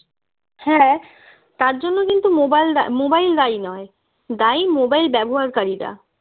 হ্যাঁ তার জন্য কিন্তু mobile দায় mobile দায়ী নয় দায়ী mobile ব্যবহারকারীরা